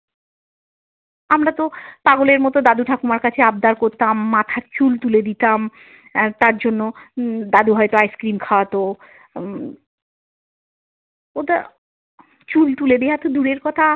আমরা তো পাগলের মতো দাদু ঠাকুমার কাছে আব্দার করতাম মাথার চুল তুলে দিতাম আহ তার জন্য উম দাদু হয়তো ice cream খাওয়াতো উম ওটা চুল তুলে দেওয়াতো দূরের কথা।